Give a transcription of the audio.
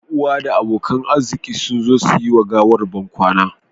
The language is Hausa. Yan uwa da abokan arziki sun zo su yi wa gawar bankwana